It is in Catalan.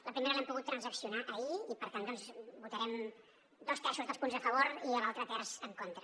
la primera l’hem poguda transaccionar ahir i per tant doncs votarem dos terços dels punts a favor i l’altre terç en contra